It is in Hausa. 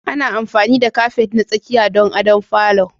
Ana amfani da kafet na tsakiya don adon falo.